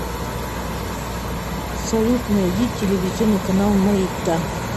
салют найди телевизионный канал майдан